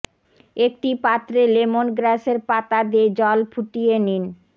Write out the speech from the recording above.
একটি পাত্রে লেমন গ্র্যাসের পাতা দিয়ে জল ফুটিয়ে নিন